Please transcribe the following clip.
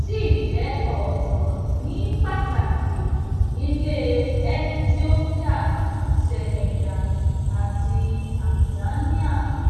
sì jé òótó ní pàtàkì nílè etiópíà senegal àti tanzania